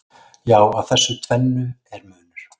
Já, á þessu tvennu er munur.